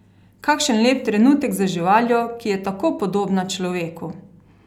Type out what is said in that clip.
Kakšen lep trenutek z živaljo, ki je tako podobna človeku!